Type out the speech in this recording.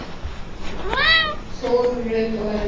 Þórunn Rut og Erling.